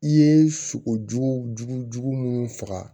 I ye sogo jugujugu munnu faga